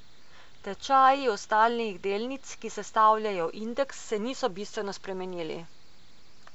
Tečaji ostalih delnic, ki sestavljajo indeks, se niso bistveno spremenili.